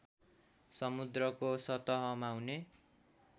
समुद्रको सतहमा हुने